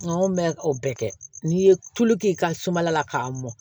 Nka anw bɛ o bɛɛ kɛ n'i ye tulu k'i ka sumala la k'a mɔn